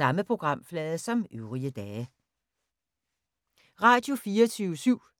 Radio24syv